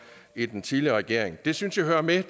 i den tidligere regering det synes jeg hører med